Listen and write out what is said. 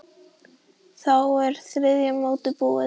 Þá er þriðja mótið búið.